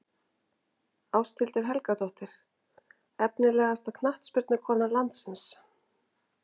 Ásthildur Helgadóttir Efnilegasta knattspyrnukona landsins?